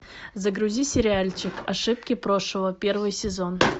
загрузи сериальчик ошибки прошлого первый сезон